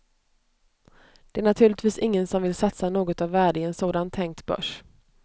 Det är naturligtvis ingen som vill satsa något av värde i en sådan tänkt börs.